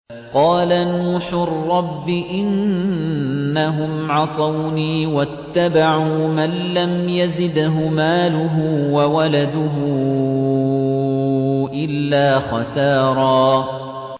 قَالَ نُوحٌ رَّبِّ إِنَّهُمْ عَصَوْنِي وَاتَّبَعُوا مَن لَّمْ يَزِدْهُ مَالُهُ وَوَلَدُهُ إِلَّا خَسَارًا